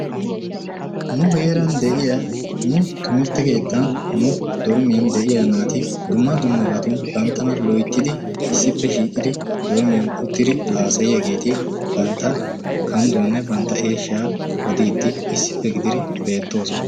Nu heeran de'iya nu timirtte keettan nu dormmiyan de'iyaa naati dumma dummaabatun banttana loyttidi issippe shiiqidi dormmiyaan uttidi hassayiyyaageeti bantta kandduwanne bantta eeshshaa odiidi issippe gididi beettoosona.